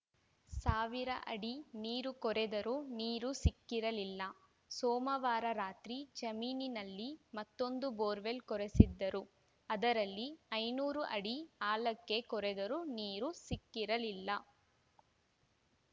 ಸಾವಿರ ಅಡಿ ನೀರು ಕೊರೆದರೂ ನೀರು ಸಿಕ್ಕಿರಲಿಲ್ಲ ಸೋಮವಾರ ರಾತ್ರಿ ಜಮೀನಿನಲ್ಲಿ ಮತ್ತೊಂದು ಬೋರ್‌ವೆಲ್‌ ಕೊರೆಸಿದ್ದರು ಅದರಲ್ಲಿ ಐನೂರು ಅಡಿ ಆಳಕ್ಕೆ ಕೊರೆದರೂ ನೀರು ಸಿಕ್ಕಿರಲಿಲ್ಲ